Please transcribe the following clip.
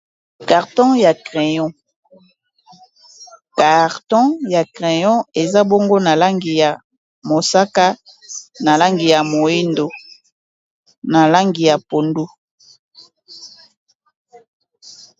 Carton ya crayon eza bongo na langi ya mosaka, na langi ya moyindo, na langi ya pondu.